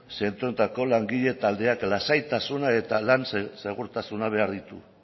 zentroetako langile taldeak lasaitasuna eta lan segurtasuna behar ditu